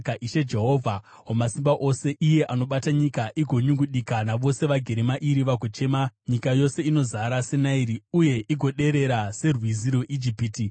Ishe, Jehovha Wamasimba Ose, iye anobata nyika igonyungudika, navose vagere mairi vagochema, nyika yose inozara seNairi, uye igoderera serwizi rweIjipiti,